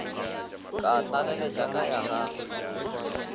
ka tlaleletša ka ya gagwe